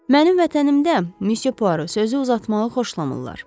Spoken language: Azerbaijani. Mənim vətənimdə, Monsieur Poirot, sözü uzatmağı xoşlamırlar.